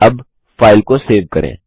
अब फाइल को सेव करें